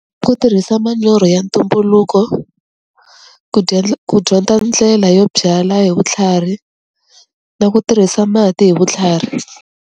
Ku tirhisa manyoro ya ntumbuluko, ku ku dyondza ndlela yo byala hi vutlhari, na ku tirhisa mati hi vutlhari.